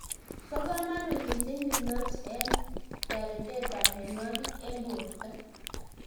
Bo komonut mising lymph nodes eng' teretab mionwogik eng' borto